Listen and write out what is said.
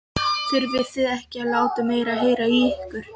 Þurfi þið ekki að láta meira heyra í ykkur?